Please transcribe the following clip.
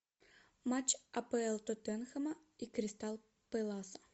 матч апл тоттенхэма и кристал пэласа